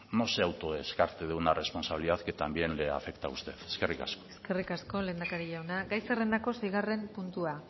no se autodescarte de una responsabilidad que también le afecta a usted eskerrik asko eskerrik asko lehendakari jauna gai zerrendako seigarren puntua